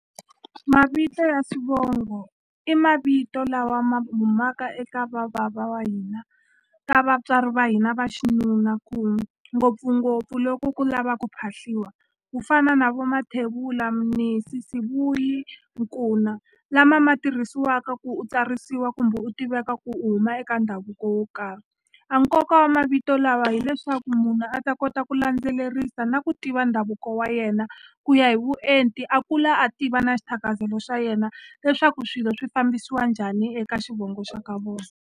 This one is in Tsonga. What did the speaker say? Mavito ya swivongo i mavito lawa ma humaka eka vabava wa hina ka vatswari va hina va xinuna ku ngopfungopfu loko ku lava ku phahliwa ku fana na vo Mathebula Mnisi Sibuyi Nkuna lama ma tirhisiwaka ku u tsarisiwa kumbe u tiveka ku u huma eka ndhavuko wo karhi a nkoka wa mavito lawa hileswaku munhu a ta kota ku landzelerisa na ku tiva ndhavuko wa yena ku ya hi vuenti a kula a tiva na xithakazelo xa yena leswaku swilo swi fambisiwa njhani eka xivongo xa ka vona.